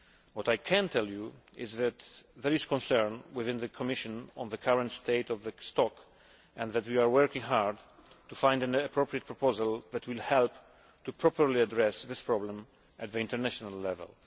What I can tell you is that there is concern within the Commission on the current state of the stock and that we are working hard to find an appropriate proposal that will help properly address this problem at the international level.